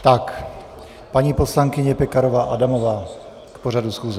Tak, paní poslankyně Pekarová Adamová k pořadu schůze.